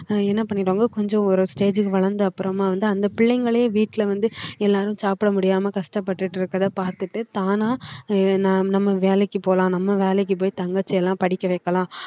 ஆஹ் என்ன பண்ணிடுவாங்க கொஞ்சம் ஒரு stage க்கு வளர்ந்து அப்புறமா வந்து அந்த பிள்ளைங்களே வீட்டுல வந்து எல்லாரும் சாப்பிட முடியாம கஷ்டப்பட்டுட்டு இருக்கறதைப் பாத்துட்டு தானா நம்ம வேலைக்கு போலாம் நம்ம வேலைக்கு போயி தங்கச்சி எல்லாம் படிக்க வைக்கலாம்